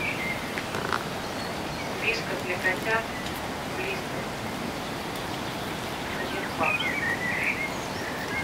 вискас для котят блистер один пак